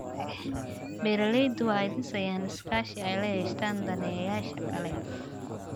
Beeraleydu waxay dhisayaan iskaashi ay la yeeshaan daneeyayaasha kale.